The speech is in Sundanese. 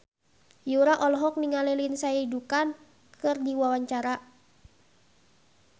Yura olohok ningali Lindsay Ducan keur diwawancara